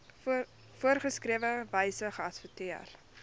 voorgeskrewe wyse geadverteer